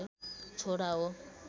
छोरा हो